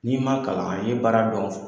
N'i ma kalan ali n'i ye baara dɔn fu